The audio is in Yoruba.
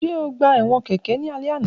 Ṣe o gba ẹwọn keke ni alẹ ana